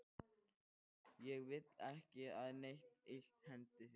Ég vil ekki að neitt illt hendi þig.